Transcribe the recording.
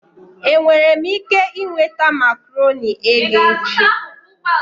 Enwere m ike ị nweta makaronii eghe echi?